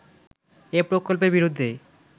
এ প্রকল্পের বিরুদ্ধে